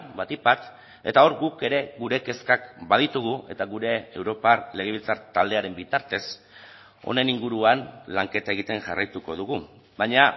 batik bat eta hor guk ere gure kezkak baditugu eta gure europar legebiltzar taldearen bitartez honen inguruan lanketa egiten jarraituko dugu baina